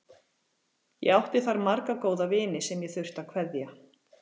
Ég átti þar marga góða vini sem ég þurfti að kveðja.